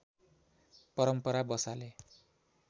परम्परा बसाले